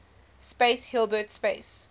space hilbert space